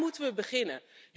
Waar moeten we beginnen?